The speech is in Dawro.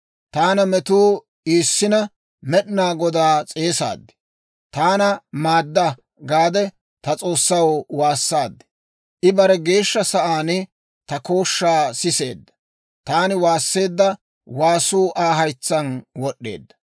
Taana metuu iissina, Med'inaa Godaa s'eesaad; «Taana maadda» gaade ta S'oossaw waassaad. I bare Geeshsha Sa'aan ta kooshshaa siseedda; taani waasseedda waasuu Aa haytsaan wod'd'eedda.